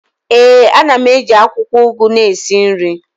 ee, a na m eji akwukwo ugu na esi nri